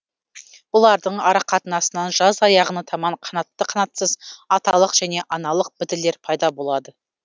бұлардың арақатынасынан жаз аяғына таман қанатты қанатсыз аталық және аналық бітілер пайда болады